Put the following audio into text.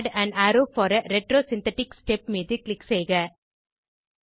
add on arrow for a retrosynthetic step மீது click செய்க